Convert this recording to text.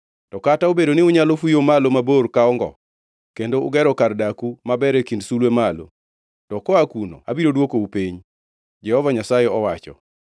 To kata obedo ni unyalo fuyo malo mabor ka ongo, kendo ugero kar daku maber e kind sulwe malo, to koa kuno abiro dwokou piny,” Jehova Nyasaye owacho.